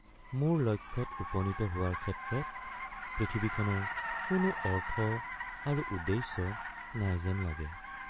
মোৰ লক্ষ্যত উপনীত হোৱাৰ ক্ষেত্ৰত পৃথিৱীখনৰ কোনো অৰ্থ আৰু উদ্দেশ্য নাই যেন লাগে।